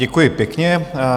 Děkuji pěkně.